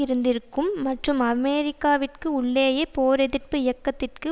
இருந்திருக்கும் மற்றும் அமெரிக்காவிற்கு உள்ளேயே போர் எதிர்ப்பு இயக்கத்திற்கு